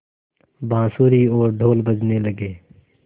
बाँसुरी और ढ़ोल बजने लगे